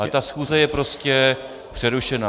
Ale ta schůze je prostě přerušená.